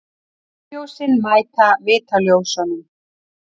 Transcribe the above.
Bílljósin mæta vitaljósunum.